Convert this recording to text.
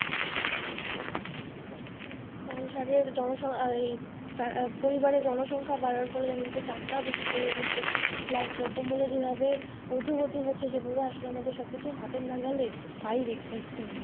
সংসারের পরিবারের জনসংখ্যা বাড়ার ফলে দেখা গেছে চাপ টা বেশি পড়ে গেছে plus দ্রব্যমূল্যের যেভাবে ঊর্ধ্বগতি হচ্ছে সেভাবে আসলে আমাদের সবকিছু হাতের নাগালের বাইরে একদম।